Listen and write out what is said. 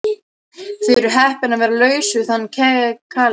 Þið eruð heppin að vera laus við þann kaleik.